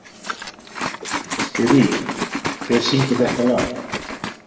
Sirrý, hver syngur þetta lag?